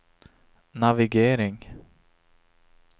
navigering